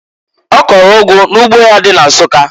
Ọ kọlụ ụgụ n'ugbo ya dị na Nsukka.